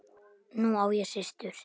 Nú á ég systur.